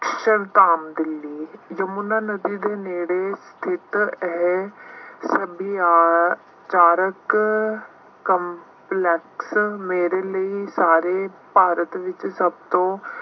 ਚੱਲ ਧਾਮ ਦਿੱਲੀ ਜੇ ਮੁੰਡਾ ਨਦੀ ਦੇ ਨੇੜੇ ਖੇਤਰ ਹੈ ਕਾਰਕ complex ਮੇਰੇ ਲਈ ਸਾਰੇ ਭਾਰਤ ਵਿੱਚ ਸਭ ਤੋਂ